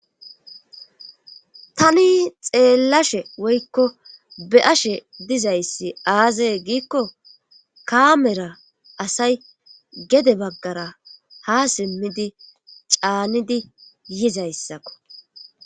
tani xeellashe woykko be'ashe dizayssi aazaye giikko kaamera asay gede baggara ha simmidi caanidi yizayssakko